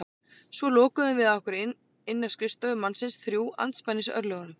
Svo lokuðum við að okkur inni á skrifstofu mannsins, þrjú andspænis örlögunum.